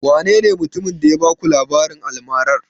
Wanene mutumin da ya baku labarin almarar?